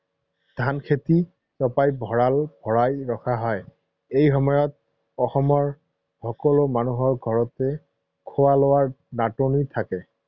ধান খেতি ছপাই ভঁৰাল ভৰাই ৰখা হয়। এই সময়ত অসমৰ সকলো মানুহৰ ঘৰতে খোৱা লোৱাৰ নাটনি নাথাকে।